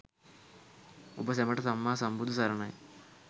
ඔබ සැමට සම්මා සම්බුදු සරණයි?